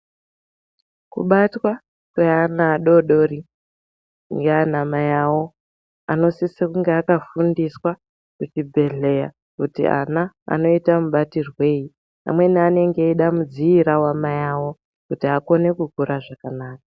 Kubatwa kweana adodori ndiana mayawo anosisa kunge akafundiswa kuchibhedhleya kuti ana anoita mubatirwei amweni anenge eida mudziira wamayawo kuti akone kukura zvakanaka.